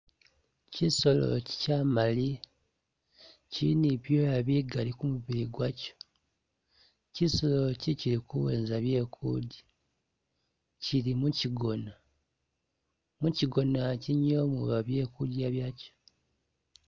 Kyisolo kyi kyamaliya, kyili ni bi byoya bigali ku mubili gwakyo, kyisolo ikyi kyili kuwenza byekulya kyili mu kyigona, mukyigona ikyi nimwo muba byekulya byakyo